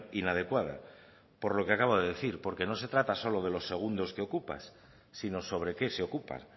inadecuada por lo que acabo de decir porque no se trata solo de los segundos que ocupas sino sobre qué se ocupa